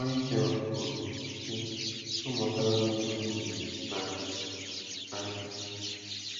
Michel kwuru, sị: “Amụtala m ịhụ nwunye m n’anya anya.”